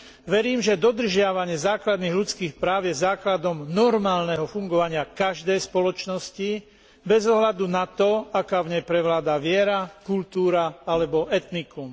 Verím, že dodržiavanie základných ľudských práv je základom normálneho fungovania každej spoločnosti bez ohľadu na to, aká v nej prevláda viera, kultúra alebo etnikum.